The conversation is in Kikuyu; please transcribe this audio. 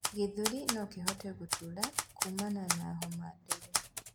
ithuri nokihote gutuura kuumana na homa nduru